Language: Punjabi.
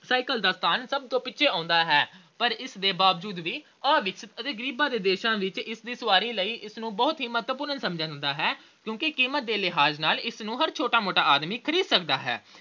cycle ਦਾ ਸਥਾਨ ਸਭ ਤੋਂ ਪਿੱਛੇੇ ਆਉਂਦਾ ਹੈ। ਪਰ ਇਸ ਦੇ ਬਾਵਜੂਦ ਵੀ ਅਵਿਕਸਿਤ ਤੇ ਗਰੀਬਾਂ ਦੇ ਦੇਸ਼ਾਂ ਵਿੱਚ ਸਵਾਰੀ ਲਈ ਇਸ ਨੂੰ ਬਹੁਤ ਹੀ ਮਹੱਤਵਪੂਰਨ ਸਮਝਿਆ ਜਾਂਦਾ ਹੈ ਕਿਉਂਕਿ ਕੀਮਤ ਦੇ ਲਿਹਾਜ ਨਾਲ ਇਸਨੂੰ ਹਰ ਛੋਟਾ-ਮੋਟਾ ਆਦਮੀ ਖਰੀਦ ਸਕਦਾ ਹੈ।